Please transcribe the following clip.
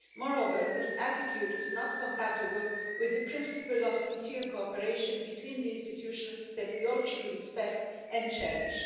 Moreover, this attitude is not compatible with the principle of sincere cooperation between the institutions that we all should respect and cherish.